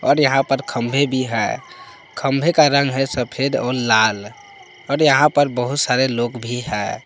और यहां पर खंभे भी है खंभे का रंग है सफेद और लाल और यहां पर बहुत सारे लोग भी है।